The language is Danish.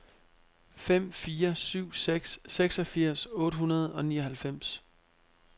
fem fire syv seks seksogfirs otte hundrede og nioghalvfems